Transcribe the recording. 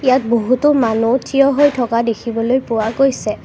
ইয়াত বহুটো মানু্হ থিয় হৈ থকা দেখিবলৈ পোৱা গৈছে।